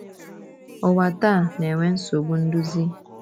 Ụwa taa na-enwe nsogbu nduzi.